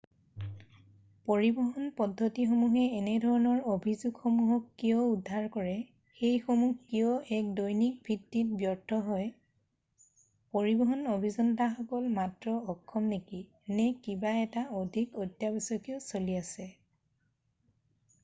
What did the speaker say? পৰিবহন পদ্ধতিসমূহে এনেধৰণৰ অভিযোগসমূহক কিয় উদ্ভৱ কৰে সেইসমূহ কিয় এক দৈনিক ভিত্তিত ব্যৰ্থ হয় পৰিবহণ অভিযন্তাসকল মাত্ৰ অক্ষম নেকি নে কিবা এটা অধিক অত্যাৱশ্যকীয় চলি আছে